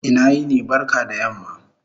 Ina yini/ barka da yamma